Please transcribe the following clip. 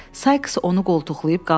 Sais onu qoltuqlayıb qaldırdı.